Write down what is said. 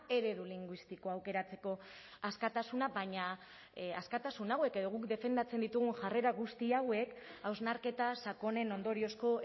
eredu linguistiko aukeratzeko askatasuna baina askatasun hauek edo guk defendatzen ditugun jarrera hauek guztiak hausnarketa sakonen ondoriozko